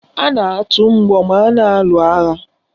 A na-atụ mgbọ ma a na-alụ agha